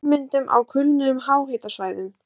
Ummyndun á kulnuðum háhitasvæðum